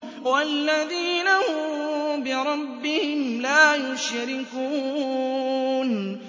وَالَّذِينَ هُم بِرَبِّهِمْ لَا يُشْرِكُونَ